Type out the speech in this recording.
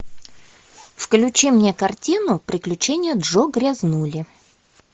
включи мне картину приключения джо грязнули